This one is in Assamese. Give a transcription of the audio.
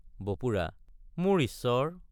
বপুৰা—মোৰ ঈশ্বৰ!